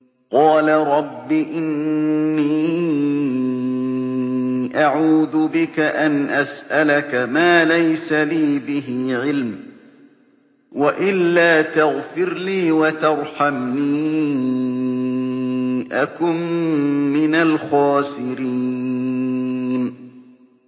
قَالَ رَبِّ إِنِّي أَعُوذُ بِكَ أَنْ أَسْأَلَكَ مَا لَيْسَ لِي بِهِ عِلْمٌ ۖ وَإِلَّا تَغْفِرْ لِي وَتَرْحَمْنِي أَكُن مِّنَ الْخَاسِرِينَ